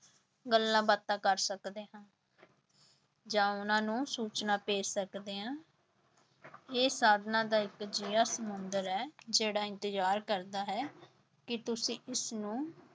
ਗੱਲਾਂਬਾਤਾਂ ਕਰ ਸਕਦੇ ਹਾਂ ਜਾਂ ਉਹਨਾਂ ਨੂੰ ਸੂਚਨਾ ਭੇਜ ਸਕਦੇ ਹਾਂ ਇਹ ਸਾਧਨਾਂ ਦਾ ਇੱਕ ਅਜਿਹਾ ਸਮੁੰਦਰ ਹੈ ਜਿਹੜਾ ਇੰਤਜ਼ਾਰ ਕਰਦਾ ਹੈ ਕਿ ਤੁਸੀਂ ਇਸ ਨੂੰ